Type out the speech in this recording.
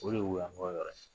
O de ye Woyanko yɔrɔ ye